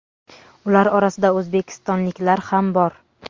Ular orasida o‘zbekistonliklar ham bor.